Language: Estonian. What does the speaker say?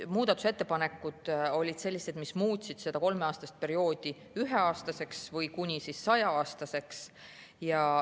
Muudatusettepanekud olid sellised, mis muutsid kolmeaastast perioodi üheaastaseks või kuni saja‑aastaseks.